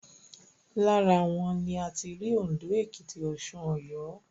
Lára wọn ni a ti rí Òndó, Èkìtì, Ọ̀ṣun, Ọ̀yọ́